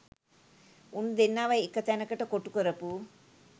උන් දෙන්නව එක තැනකට කොටු කරපු